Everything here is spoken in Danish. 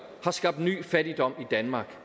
har skabt ny fattigdom i danmark